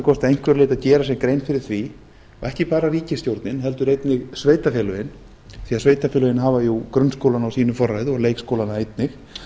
að einhverju leyti að gera sér grein fyrir því ekki bara ríkisstjórnin heldur einnig sveitarfélögin því sveitarfélögin hafa grunnskólann á sínu forræði og leikskólana einnig